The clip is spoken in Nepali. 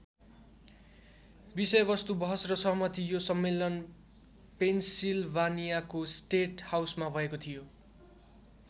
विषयवस्तु बहस र सहमति यो सम्मेलन पेन्सिल्भानियाको स्टेट हाउसमा भएको थियो।